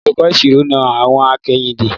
Olùkọ́ ìṣirò na àwọ̀n akẹ́yìndé.